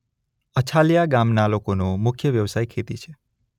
અછાલિયા ગામના લોકોનો મુખ્ય વ્યવસાય ખેતી છે.